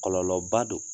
Kɔlɔlɔba do